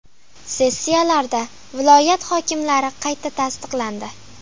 Sessiyalarda viloyat hokimlari qayta tasdiqlandi.